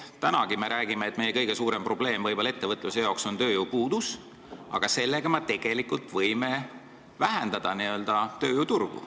Tänagi me oleme rääkinud, et meie kõige suurem probleem ettevõtluses on tööjõupuudus, aga selle võimalusega me ju vähendame tööjõuturgu.